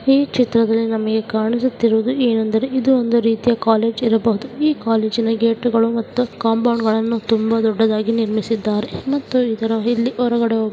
ಈ ಚಿತ್ರದಲ್ಲಿ ನಮಗೆ ಕಾಣಿಸುತ್ತಿರುವುದು ಏನೆಂದರೆ ಇದು ಒಂದು ರೀತಿಯ ಕಾಲೇಜು ಇರಬಹುದು ಈ ಕಾಲೇಜು ಗೇಟ್ ಗಳು ಮತ್ತು ಕಾಂಪೌಂಡ್ ತುಂಬಾ ದೊಡ್ಡದಾಗಿ ನಿಮರ್ಸಿದ್ದರೆ. ಮತ್ತು ಇದ್ರ ಇಲ್ಲಿ ಹೊರಗಡೆ ಹೊ --